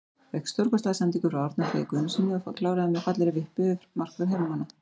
Fékk stórkostlega sendingu frá Árna Frey Guðnasyni og kláraði með fallegri vippu yfir markvörð heimamanna.